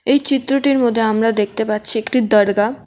এই চিত্রটির মধ্যে আমরা দেখতে পাচ্ছি একটি দরগা।